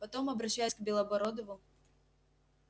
потом обращаясь к белобородову